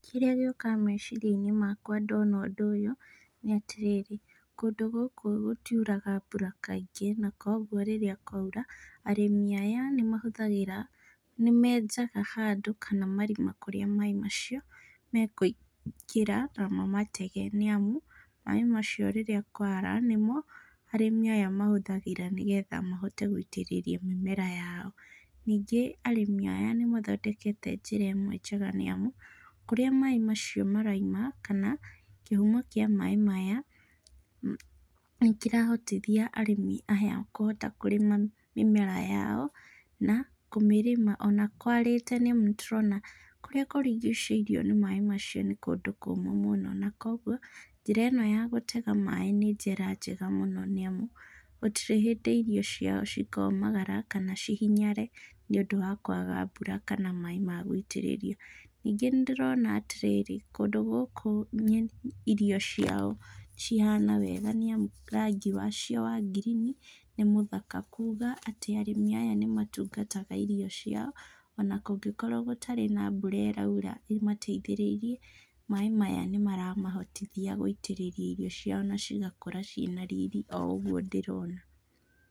Kĩrĩa gĩũkaga meciria-inĩ makwa ndona ũndũ ũyũ nĩatĩrĩrĩ, kũndũ gũkũ gũtiuraga mbura kaingĩ, na koguo rĩrĩa kwaura, arĩmi aya nĩmahũthagĩra, nĩmenjaga handũ kana marima kũrĩa maĩ macio mekũingĩra na mamatege nĩamu, maĩ macio rĩrĩa kwara nĩmo arĩmi aya matũmagĩra nĩgetha mahote gũitĩrĩria mĩmera yao. Ningĩ arĩmi aya nĩmathondekete njĩra ĩmwe njega nĩamu, kũrĩa maĩ macio marauma kana kĩhumo kĩa maĩ maya nĩkĩrahotithia arĩmi aya kũhota kũrĩma mĩmera yao, na kũmĩrĩma ona kwarĩte nĩamu nĩtũrona kũrĩa kũrigicĩirio nĩ maĩ macio nĩ kũndũ kũmũ mũno na kuoguo njĩra ĩno ya gũtega maĩ nĩ njĩra njega mũno nĩamu, gũtirĩ hĩndĩ irio ciao cikomagara kana cihinyare nĩũndũ wa kwaga mbura kana maĩ ma gũitĩrĩrio. Ningĩ nĩndĩrona atĩrĩrĩ, kũndũ gũkũ nyeni irio ciao cihana wega nĩamu rangi wacio wa ngirini nĩmũthaka, kuga atĩ arĩmi aya nĩmatungataga irio ciao, ona kũngĩkorwo gũtarĩ na mbura ĩraura ĩmateithĩrĩirie, maĩ maya nĩmaramahotithia gũitĩrĩria irio ciao na cigakũra ciĩna riri o ũguo ndĩrona.